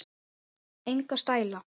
Enga stæla